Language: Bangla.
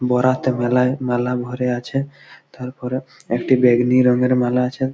বরাতে মেলায় মেলা ভরে আছে তারপরে একটি বেগনি রং এর মালা আছে।